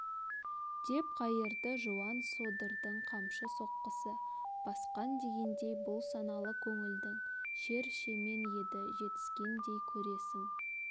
деп қайырды жуан содырдың қамшы соққысы басқан дегендей бұл саналы көңілдің шер шемен еді жетскендей көресің